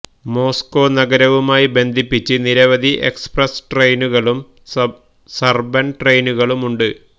Moscow നഗരവുമായി ബന്ധിപ്പിച്ച് നിരവധി എക്സ്പ്രസ് ട്രെയിനുകളും സബർബൻ ട്രെയിനുകളുമുണ്ട്